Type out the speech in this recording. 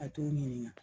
A t'o ɲininga